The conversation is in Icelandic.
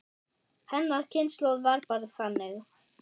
Hennar kynslóð var bara þannig.